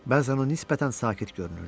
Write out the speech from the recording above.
Bəzən o nisbətən sakit görünürdü.